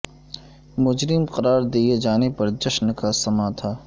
مجرم قرار دیے جانے پر جشن کا سماں تھا